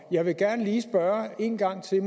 jeg vil gerne lige spørge en gang til